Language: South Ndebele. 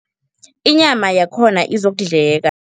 Inyama yakhona izokudleka.